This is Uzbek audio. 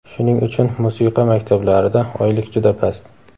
Shuning uchun musiqa maktablarida oylik juda past.